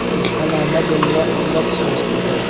इसका नाम है गंगा अमृत हॉस्पिटल ।